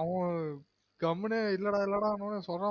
அவ கம்முனு இல்லடா இல்லடானொனெ சொன்னொ